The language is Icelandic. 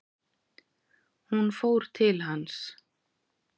Hún fór til hans.